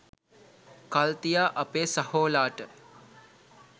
කල් තියා අපේ සහෝලාට